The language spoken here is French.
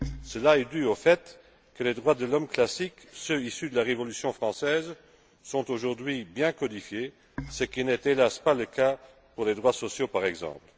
Cela est dû au fait que les droits de l'homme classiques, ceux issus de la Révolution française, sont aujourd'hui bien codifiés, ce qui n'est, hélas, pas le cas pour les droits sociaux, par exemple.